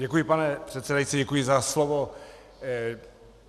Děkuji, pane předsedající, děkuji za slovo.